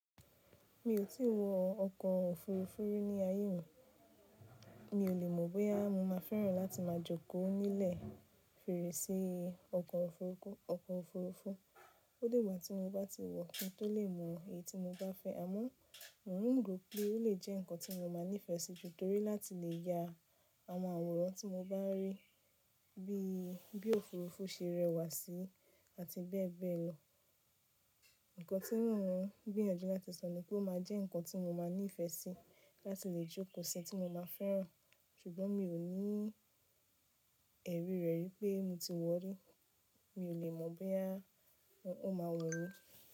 Mi ò tí wọ ọkọ̀ òfurufú rí ní ayé mi, mi ò le mọ̀ bóyá mo máa fẹ́ràn láti máa jókòó nílẹ̀ fèrèsé ọkọ̀ òfurufú. Ó digba tí mo bá ti wọ̀ kí n tó lè mọ èyí tí mo bá fẹ́, àmọ́ mò ń rò pé ó lè jẹ́ ǹkan tí mo máa nífẹ̀ẹ́ sí tori láti lè ya àwọn àwòrán tí mo bá rí bí òfurufú ṣe rẹwà sí àti bẹ́ẹ̀ bẹ́ẹ̀ lọ. Ǹkan tí mò ń gbìyànjú láti sọ ni pé ó máa jẹ́ ǹkan tí mo máa nífẹ̀ẹ́ sí láti lè jókòó síi, tí mo máa fẹ́ràn, ṣùgbọ́n mi ò ní ẹ̀rí rẹ̀ wípé mo ti wọ̀ rí. Mi ò le mọ̀ bóyá ó máa wun mi.